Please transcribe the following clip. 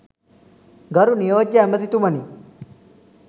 ගරු නියෝජ්‍ය ඇමතිතුමනි